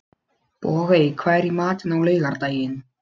Bogey, hvað er í matinn á laugardaginn?